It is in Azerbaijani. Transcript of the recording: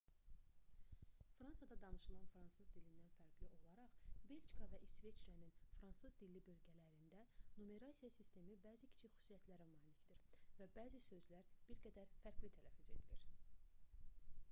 fransada danışılan fransız dilindən fərqli olaraq belçika və i̇sveçrənin fransız-dilli bölgələrində numerasiya sistemi bəzi kiçik xüsusiyyətlərə malikdir və bəzi sözlər bir qədər fərqli tələffüz edilir